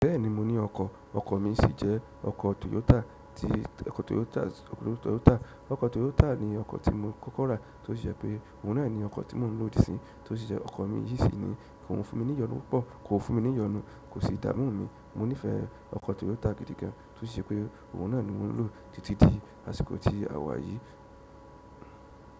Bẹ́ẹ̀ni mo ní ọkọ́, ọkọ́ mi sì jẹ́ ọkọ́ Toyota. Ti, ọkọ́ Toyota, ọkọ́ Toyota. Ọkọ́ Toyota ni ọkọ́ tí mo kọ́kọ́ rà tí ó sì jẹ́ pé ohun náà ni ọkọ́ tí mò ń lò dí sín, tí ó sì jẹ́ ọkọ́ méjì sì ni. Kò fún mi ní ìyọnu púpọ̀, kò fún mi ní ìyọnu, kò sì dá mú mi. Mo nífẹ̀ẹ́ ọkọ́ Toyota gidi gan tí ó sì jẹ́ pé ohun náà ni mò ń lò títí di àsìkò tí a wá yìí.